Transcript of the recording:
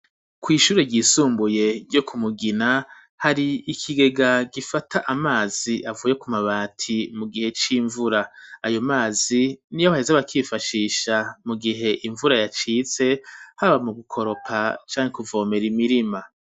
Kw’ishure ryisumbuye ryo ku Mugina, hari ikigega gifata amazi avuye ku mabati, mu gihe c'imvura; ayo mazi niyo baheza bakifashisha mu gihe imvura yacitse, haba mu gukoropa, canke kuvomera imirima.